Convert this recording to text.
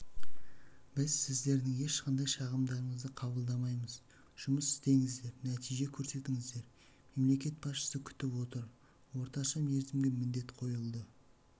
біз сіздердің ешқандай шағымдарыңызды қабылдамаймыз жұмыс істеңіздер нәтиже көрсетіңіздер мемлекет басшысы күтіп отыр орташамерзімге міндет қойылды